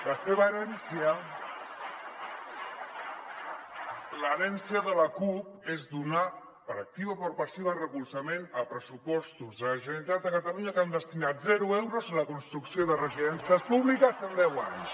la seva herència l’herència de la cup és donar per activa o per passiva recolzament a pressupostos de la generalitat de catalunya que han destinat zero euros a la construcció de residències públiques en deu anys